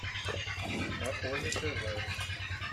афоня тв